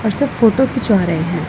और सब फोटो खिंचवा रहे हैं।